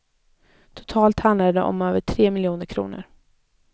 Totalt handlar det om över tre miljoner kronor.